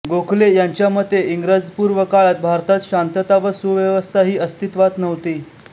गोखले यांच्या मते इंग्रजपूर्व काळात भारतात शांतता आणि सुव्यवस्था ही अस्तित्वात नव्हती